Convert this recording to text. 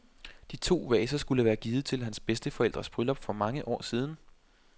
De to vaser skulle være givet til hans bedsteforældres bryllup for mange år siden.